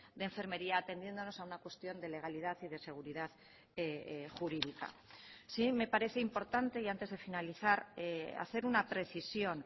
de enfermería atendiéndonos a una cuestión de legalidad y de seguridad jurídica sí me parece importante y antes de finalizar hacer una precisión